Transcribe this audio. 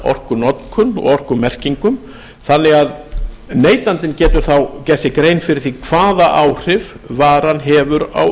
orkunotkun og orkumerkingum þannig að neytandinn getur þá gert sér grein fyrir því hvaða áhrif varan hefur á